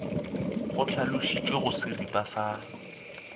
go hlalošitšwe go seripa sa